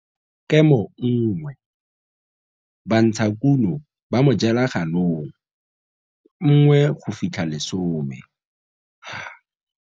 Kemo 1 Bantshakuno ba mojelaganong 1 10 ha.